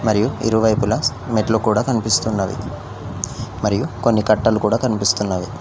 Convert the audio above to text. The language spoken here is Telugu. మరియు ఇరువైపుల మెట్లు కూడా కనిపిస్తున్నది మరియు కొన్ని కట్టలు కూడా కనిపిస్తున్నవి.